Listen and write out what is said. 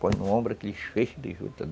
Põe no ombro aqueles feixes de jutas.